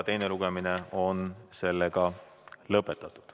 Teine lugemine on lõpetatud.